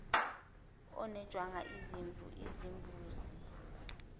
onogwaja izimvu izimbuzi